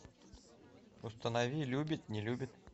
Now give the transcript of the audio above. установи любит не любит